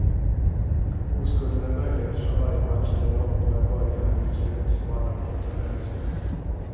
Oskulden är möjlig eftersom varje match eller lopp har en början och ett slut som alla har kommit överens om.